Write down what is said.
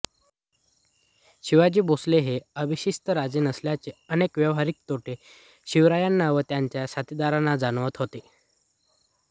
शिवाजी भोसले हे अभिषिक्त राजे नसल्याचे अनेक व्यावहारिक तोटे शिवरायांना व त्यांच्या साथीदारांना जाणवत होते